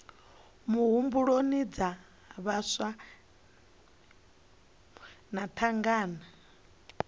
muhumbuloni dza vhaswa na thangana